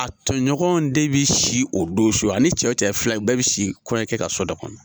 A tɔɲɔgɔnw de be si o don su . A ni cɛ wo cɛ ye filan ye u bɛɛ be si kɔɲɔnkɛ ka so dɔ kɔnɔ.